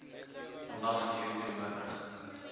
vandag hier teenwoordig